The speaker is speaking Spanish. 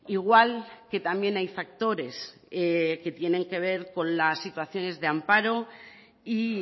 igual que también hay factores que tienen que ver con las situaciones de amparo y